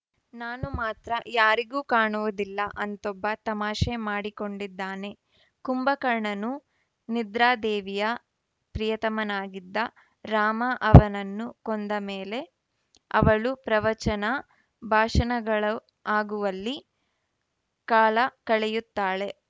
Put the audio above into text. ನಾನು ಮಾತ್ರ ಯಾರಿಗೂ ಕಾಣುವುದಿಲ್ಲ ಅಂತೊಬ್ಬ ತಮಾಷೆ ಮಾಡಿಕೊಂಡಿದ್ದಾನೆ ಕುಂಭಕರ್ಣನು ನಿದ್ರಾದೇವಿಯ ಪ್ರಿಯತಮನಾಗಿದ್ದ ರಾಮ ಅವನನ್ನು ಕೊಂದಮೇಲೆ ಅವಳು ಪ್ರವಚನ ಭಾಷಣಗಳು ಆಗುವಲ್ಲಿ ಕಾಲಕಳೆಯುತ್ತಾಳೆ